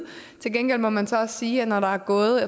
til gengæld må man så også sige at når der er gået